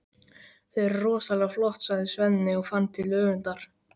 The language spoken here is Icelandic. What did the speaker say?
Þau eru rosalega flott, sagði Svenni og fann til öfundar.